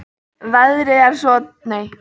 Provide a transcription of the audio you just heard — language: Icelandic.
Veðrið er svo dáindisgott.